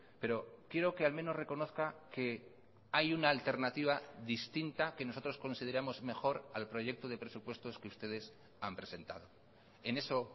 pero quiero que al menos reconozca que hay una alternativa distinta que nosotros consideramos mejor al proyecto de presupuestos que ustedes han presentado en eso